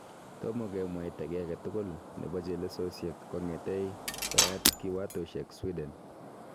Tomo kemwaito ki agetugul nebo chelesosyek kong'etegei koyat kiwatosyek Sweden